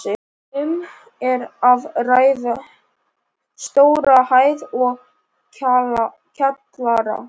Um er að ræða stóra hæð og kjallara.